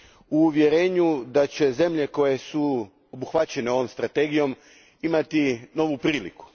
u uvjerenju da će zemlje koje su obuhvaćene ovom strategijom imati novu priliku.